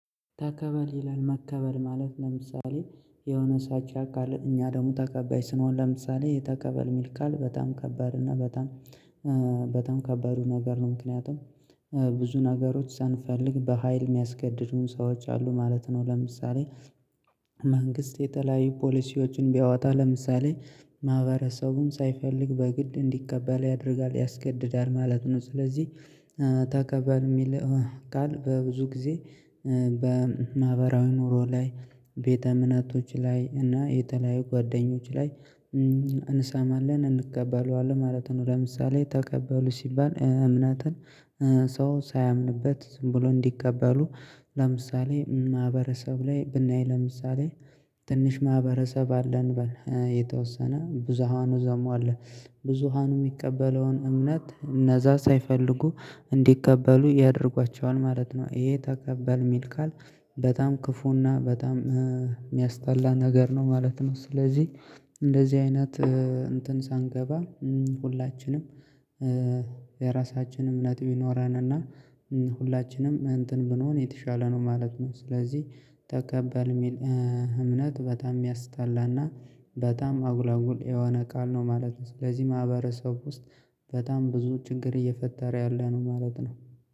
ተቀበል ይላል መቀበል ማለት ለምሳሌ የሆነ ሰጭ ካለ እኛ ደግሞ ተቀባይ ስንሆን ለምሳሌ ተቀበል የሚል ቃል በጣም ከባድ እና በጣም በጣም ከባድ ነገር ነው። ምክንያቱም ብዙ ነገሮች ሳንፈልግ በሃይል የሚያስገድዱን ሰዎች አሉ ማለት ነው። ለምሳሌ መንግስት የተለያዩ ፖሊሲዎችን ቢያወጣ ለምሳሌ ማህበረሰቡን ሳይፈልግ በግድ እንዲቀበል ያደርጋል ያስገድዳል ማለት ነው። ስለዚህ ተቀባል የሚለው ቃል በብዙ ጊዜ በማህበራዊ ኑሮ ላይ ቤተ እምነቶች ላይ እና የተለያዩ ጓደኞች ላይ እንሰማለን እንቀበለዋለን ማለት ነው። ለምሳሌ ተቀበሉ ሲባል እምነትን ሰው ሳያምንበት ዝም ብሎ እንዲቀበሉ። ለምሳሌ ማህበረሰብ ላይ ብናይ ለምሳሌ ትንሽ ማህበረሰብ አለን በል የተወሰነ ብዙሃኑ ደሞ አለ ብዙሃኑ የሚቀበለውን እምነት እነዛ ሳይፈልጉ እንዲቀበሉ ያደርጓቸዋል ማለት ነው። ይሄ ተቀበል የሚል ቃል በጣም ክፉና በጣም የሚያስጠላ ነገር ነው ማለት ነው። ስለዚህ እንደዚህ አይነት እንትን ሳንገባ ሁላችንም የራሳችንም ነጥብ ይኖራልና ሁላችንም እንትን ብንሆን የተሻለ ነው ማለት ነው። ስለዚህ ተቀበል የሚል እምነት በጣም የሚያስጠላና በጣም አጉላጉል የሆነ ቃል ነው ማለት ነው። ስለዚህ ማህበረሰብ ውስጥ በጣም ብዙ ችግር እየፈጠረ ያለ ነው ማለት ነው።